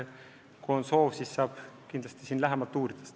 Kui on soov, siis ma saan kindlasti seda lähemalt uurida.